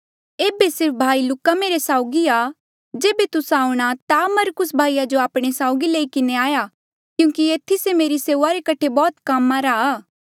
ऐबे सिर्फ भाई लूका मेरे साउगी आ जेबे तुस्सा आऊंणा ता मरकुस भाई जो आपणे साउगी लई किन्हें आया क्यूंकि एथी से मेरी सेऊआ रे कठे बौह्त कामा रा आ